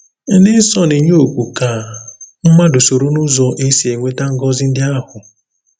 Ndị nsọ na-enye oku ka mmadụ soro n’ụzọ e si enweta ngọzi ndị ahụ.